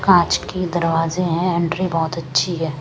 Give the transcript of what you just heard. कांच की दरवाजे हैं एंट्री बहुत अच्छी है।